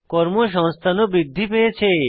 কর্মসংস্থান ও বৃদ্ধি পেয়েছে